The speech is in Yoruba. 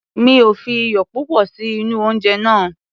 Mi ò fi iyò púpọ̀ sí inú oúnje náà.